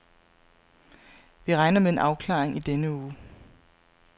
Vi regner med en afklaring i denne uge.